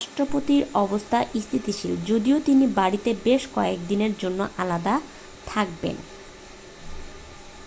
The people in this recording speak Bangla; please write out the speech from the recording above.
রাষ্ট্রপতির অবস্থা স্থিতিশীল যদিও তিনি বাড়িতে বেশ কয়েকদিনের জন্য আলাদা থাকবেন